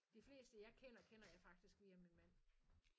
De fleste jeg kender kender jeg faktisk via min mand